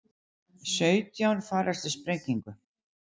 Sautján farast í sprengingu